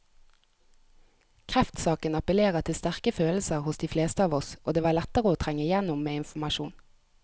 Kreftsaken appellerer til sterke følelser hos de fleste av oss, og det var lettere å trenge igjennom med informasjon.